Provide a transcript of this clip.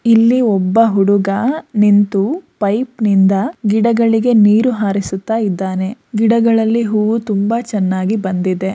ಇಲ್ಲಿ ಒಬ್ಬ ಹುಡುಗ ನಿಂತು ಪೈಪ್ ನಿಂದ ಗಿಡಗಳಿಗೆ ನೀರು ಹಾರಿಸುತ್ತಾ ಇದ್ದಾನೆ ಗಿಡಗಳಲ್ಲಿ ಹೂವು ತುಂಬಾ ಚೆನ್ನಾಗಿ ಬಂದಿದೆ.